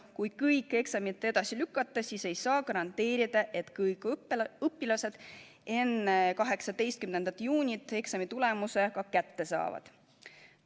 Kui kõik eksamid edasi lükata, siis ei saa garanteerida, et kõik õpilased enne 18. juunit eksamitulemuse kätte saavad.